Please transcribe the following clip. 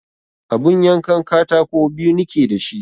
Abun yankan katako biyu nike da shi